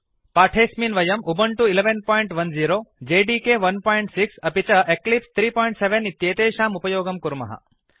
पाठेऽस्मिन् वयं Ubuntu 1110 JDK 16 अपि च एक्लिप्स 37 इत्येतेषाम् उपयोगं कुर्मः